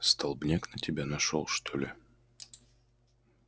столбняк на тебя нашёл что ли